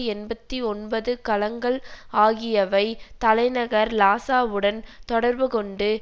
எண்பத்தி ஒன்பது கலங்கள் ஆகியவை தலைநகர் லாசாவுடன் தொடர்பு கொண்டு